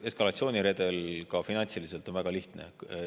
Eskalatsiooniredel on ka finantsiliselt väga lihtne.